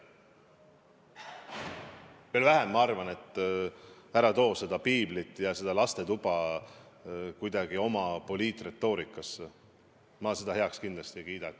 Ma arvan, et ära too piiblit ja lastetuba kuidagi oma poliitretoorikasse, ma ei kiida seda kindlasti heaks.